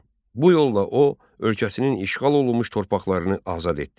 Bu yolla o, ölkəsinin işğal olunmuş torpaqlarını azad etdi.